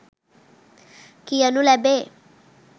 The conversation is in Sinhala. කියනු ලැබේ.